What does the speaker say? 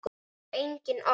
Það þarf engin orð.